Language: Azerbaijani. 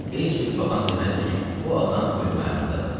Heç bir baxan deməzdi ki, bu adam ölüm ayağındadır.